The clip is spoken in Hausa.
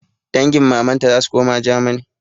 Dangin mamanta zasu koma germany